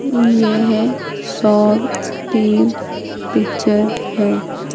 येह शॉप्स की पिक्चर है।